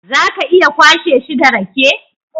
Za ka iya kwashe shi da rake?